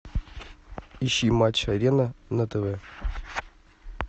ищи матч арена на тв